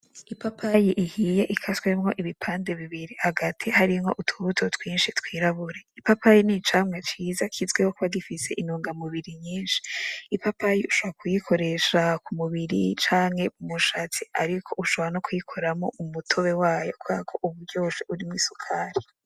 Ipapayi ihiye ikaswemwo ibipande bibiri hagati harimwo utubuto twishi twirabura ipapayi n'icamwa ciza kizwiho kuba gifise intungamubiri nyishi ipapayi ushobora kuyikoresha ku mubiri canke ku mushatsi ariko ushobora no kuyikoramwo umutobe wayo kuberako uba uryoshe urimwo isukari.